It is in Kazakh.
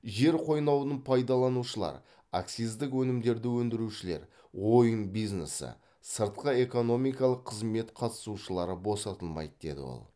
жер қойнауын пайдаланушылар акциздік өнімдерді өндірушілер ойын бизнесі сыртқы экономикалық қызмет қатысушылары босатылмайды деді ол